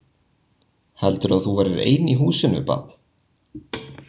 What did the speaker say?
Heldurðu að þú verðir ein í húsinu barn!